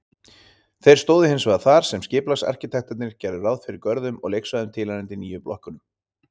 Þeir stóðu hinsvegar þar sem skipulagsarkitektarnir gerðu ráð fyrir görðum og leiksvæðum tilheyrandi nýju blokkunum.